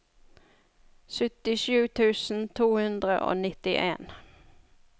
syttisju tusen to hundre og nittien